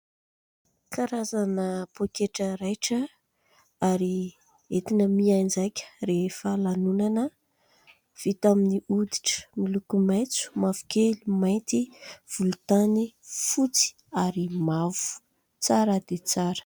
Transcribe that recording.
Karazana poketra raitra ary entina mianjaika rehefa lanonana, vita amin'ny hoditra miloko : maitso, mavokely mainty , volontany, fotsy ary mavo, tsara dia tsara.